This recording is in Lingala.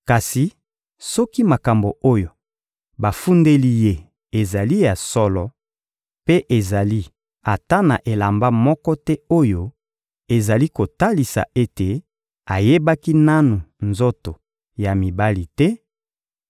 Kasi soki makambo oyo bafundeli ye ezali ya solo, mpe ezali ata na elamba moko te oyo ezali kotalisa ete ayebaki nanu nzoto ya mibali te,